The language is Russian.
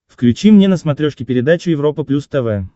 включи мне на смотрешке передачу европа плюс тв